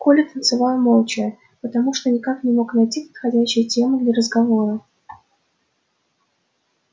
коля танцевал молча потому что никак не мог найти подходящей темы для разговора